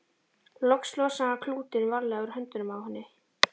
Loks losaði hann klútinn varlega úr höndunum á henni.